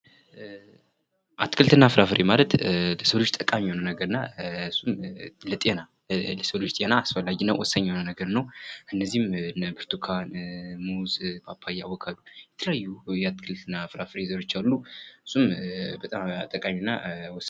አትክልት እና ፍራፍሬ ማለት ለሰው ልጅ ጠቃሚ የሆነ ነገር እና ለጤና፤ ለሰው ልጅ ጤና አስፈላጊ እና ወሳኝ የሆነ ነገር ነው። እነዚህም እነ ብርቱካን፣ ሙዝ፣ ፓፓያ፣ አቮካዶ፤ የተለያዩ የአትክልት እና ፍራፍሬ ዝርያዎች አሉ። እሱም በጣም ጠቃሚ እና ወሳኝ ነው።